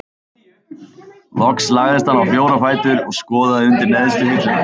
Loks lagðist hann á fjóra fætur og skoðaði undir neðstu hilluna.